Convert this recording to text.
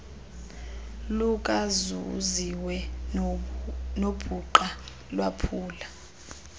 lukazuziwe nobhuqa lwaphula